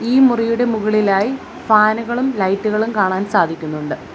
ഈ മുറിയുടെ മുകളിലായി ഫാനുകളും ലൈറ്റുകളും കാണാൻ സാധിക്കുന്നുണ്ട്.